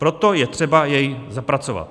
Proto je třeba jej zapracovat.